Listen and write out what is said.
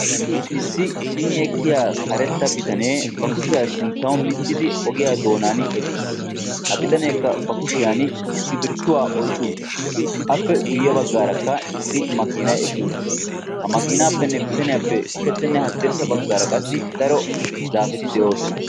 issi cimi ekkiyaa karetta bitanee ba kushiyaa sinttaw miccidi ogiyaa doonan eqqis. ha bitaneekka ba kushiyaan iskirttuwaa oyqqi uttiis. appe guyye baggaarakka maakinay eqqi uttis. ha makinaappenne bitaniyappe ushachchanne hadirssa baggaara qassi daro zaapeti de"oosona.